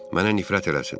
Mənə nifrət eləsin.